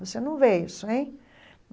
Você não vê isso, hein?